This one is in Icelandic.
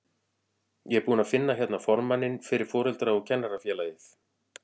Ég er búinn að finna hérna formanninn fyrir Foreldra- og kennarafélagið!